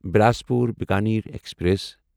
Bilaspur Bikaner express